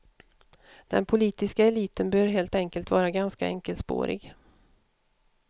Den politiska eliten bör helt enkelt vara ganska enkelspårig.